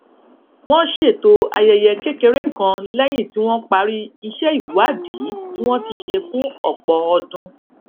wón ṣètò ayẹyẹ kékeré kan léyìn tí wón parí iṣé ìwádìí tí wón ti ṣe fún òpò ọdún